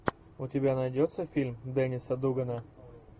у тебя найдется фильм денниса дугана